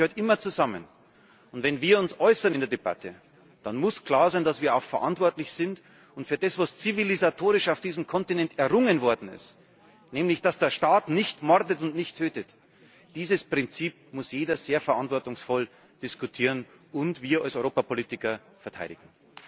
Das gehört immer zusammen. Und wenn wir uns in der Debatte äußern, dann muss klar sein, dass wir auch verantwortlich sind, auch für das, was zivilisatorisch auf diesem Kontinent errungen worden ist, nämlich dass der Staat nicht mordet und nicht tötet. Dieses Prinzip muss jeder sehr verantwortungsvoll diskutieren, und wir als Europapolitiker müssen es verteidigen.